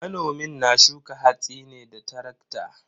Manomin na shuka hatsin ne da tarakta.